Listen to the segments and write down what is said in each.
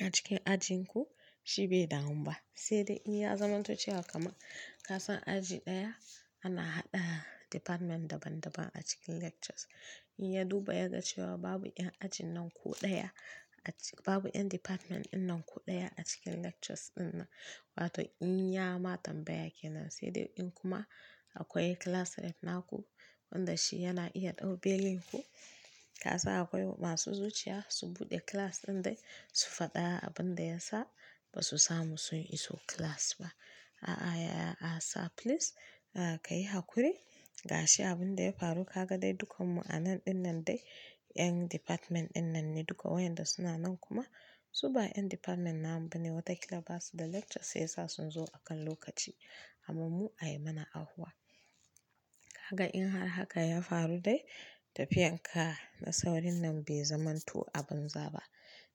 a cikin ajin ku shi bai dawo ba, sai dai in ya zamanto cewa kama kasan aji ɗaya ana haɗa department daban daban a cikin lectures. In ya duba ya ga cewa babu ƴan ajin nan ku ɗaya a cik-- babu ƴan department ɗin nan ku ɗaya a cikin lectures ɗin nan, wato in ya ma tambaya kenan sai dai in kuma akwai class rep naku wanda shi yana iya ɗau belin ku. Kasan akwai masu zuciya su buɗe class ɗin dai su faɗa abin da ya sa ba su samu su iso class ba. A'a ya, a'a sir please a ka yi hakuri ga shi abin da ya faru ka ga dai dukan mu a nan ɗin nan dai 'yan department ɗin nan ne duka wayanda suna nan kuma su ba 'yan department namu ba ne watakila basu da lecture sai sa sun zo akan lokaci amma mu a yi mana ahuwa. Haka in har haka ya faru dai tafiyar ka da saurin nan bai zamanto abin zaba.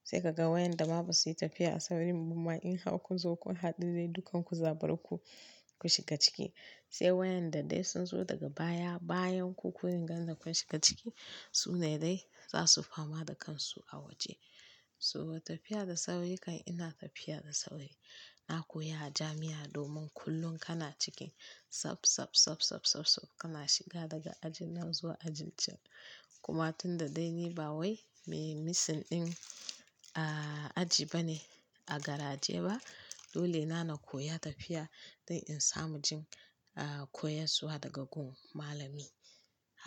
Sai ka ga wayanda ma ba su yi tafiya a saurin ba ma in har kun zo kun haɗu dai dukan ku za baro ku, ku shiga ciki. Sai wayanda dai sun zo daga baya bayan ku, kunne ganda kun shiga ciki su ne dai za su fama da kansu a waje. So tafiya da sauri kan ina tafiya da sauri. Na koya a jami'a domin kullum kana cikin sap sap sap sap sap sap kana shiga daga ajin nan zuwa ajin can. Kuma tunda dai ni ba wai mai missing ɗin a aji ba ne a garaje ba, dole na na koya tafiya don in samu jin a koyon zuwa daga gun malami.